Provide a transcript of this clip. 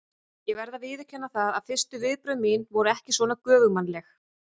Ég verð að viðurkenna það að fyrstu viðbrögð mín voru ekki svona göfugmannleg.